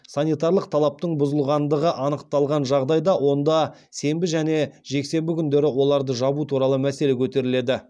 санитарлық талаптың бұзылғандығы анықталған жағдайда онда сенбі және жексенбі күндері оларды жабу туралы мәселе көтеріледі